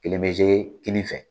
Kelen be kini fɛ.